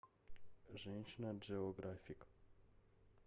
женщина джеографик